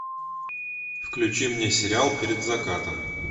включи мне сериал перед закатом